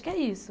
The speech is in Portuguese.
O que é isso?